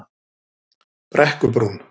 Brekkubrún